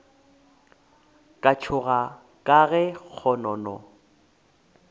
ka tšhoga ka ge kgonono